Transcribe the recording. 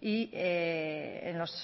y en los